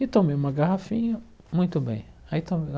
E tomei uma garrafinha, muito bem. Aí